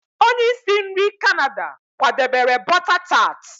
onye isi nri Canada kwadebere bọta tart